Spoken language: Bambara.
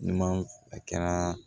N'i ma a kɛra